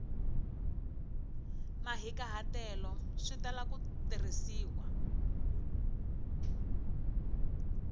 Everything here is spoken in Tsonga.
mahikahatelo swi tala ku tirhisiwa